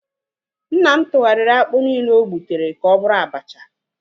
Nna m tụgharịa akpụ nile ogbutere ka ọ bụrụ abacha